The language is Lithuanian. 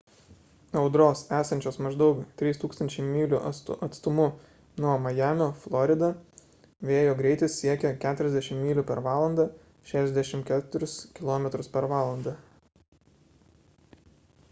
audros esančios maždaug 3 000 mylių atstumu nuo majamio florida vėjo greitis siekia 40 myl./h 64 km/h